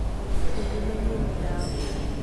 thuondi manyien dhau